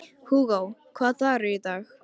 Hugó, hvaða dagur er í dag?